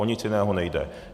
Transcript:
O nic jiného nejde.